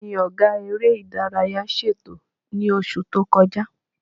Kí ni Ọ̀gá eré ìdárayá ṣètò ẹ̀ ní oṣù tó kọjá?